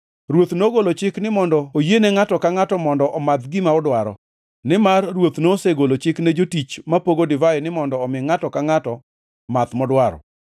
Ruoth nogolo chik ni mondo oyiene ngʼato ka ngʼato mondo omadh gima odwaro, nimar ruoth nosegolo chik ne jotich mapogo divai ni mondo omi ngʼato ka ngʼato math modwaro.